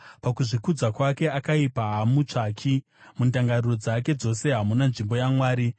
Pakuzvikudza kwake akaipa haamutsvaki; mundangariro dzake dzose hamuna nzvimbo yaMwari.